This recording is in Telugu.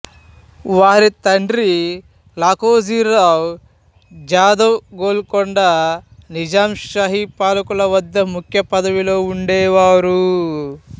వారి తండ్రి లఖోజీరావ్ జాధవ్ గోల్కొండ నిజాంషాహి పాలకులవద్ద ముఖ్య పదవిలో ఉండేవారు